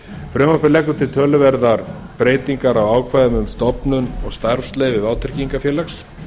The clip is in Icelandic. frumvarpið leggur til töluverðar breytingar á ákvæðum um stofnun og starfsleyfi vátryggingafélags